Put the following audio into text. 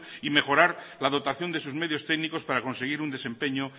y mejorar la dotación de sus medios técnicos para conseguir un desempeño